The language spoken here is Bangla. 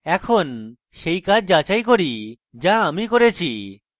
এখন সেই কাজ যাচাই করি যা আমি করেছি